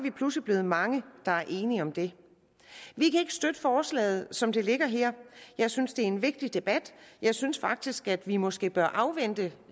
er pludselig blevet mange der er enige om det vi kan ikke støtte forslaget som det ligger her jeg synes det er en vigtig debat jeg synes faktisk at vi måske bør afvente